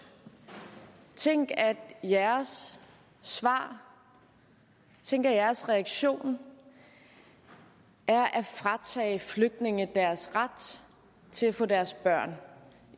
tænk at jeres svar at jeres reaktion er at fratage flygtninge deres ret til at få deres børn